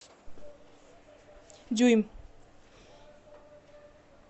дюйм